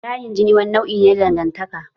Layin jini wani nau'i ne na dangantaka.